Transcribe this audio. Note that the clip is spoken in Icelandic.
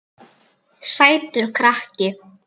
Sætur krakki!